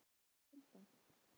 En hvað segja þær um kuldann?